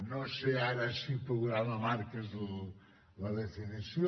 no sé ara si programa marc és la definició